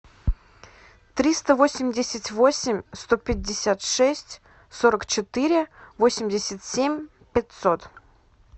триста восемьдесят восемь сто пятьдесят шесть сорок четыре восемьдесят семь пятьсот